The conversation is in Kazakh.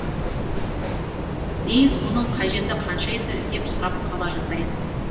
беу мұның қажеті қанша еді деп сұрап қала жаздайсың